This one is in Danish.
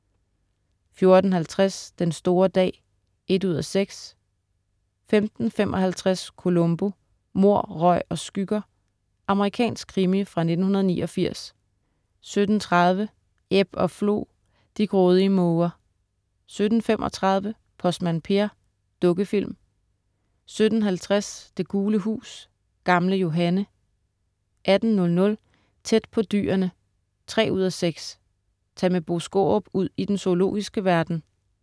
14.50 Den store dag 1:6* 15.55 Columbo: Mord, røg og skygger. Amerikansk krimi fra 1989 17.30 Ebb og Flo. De grådige måger 17.35 Postmand Per. Dukkefilm 17.50 Det gule hus. Gamle Johanne 18.00 Tæt på dyrene 3:6. Tag med Bo Skaarup ud i den zoologiske verden